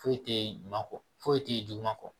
Foyi tɛ ɲuman kɔ foyi tɛ ye juguman kɔ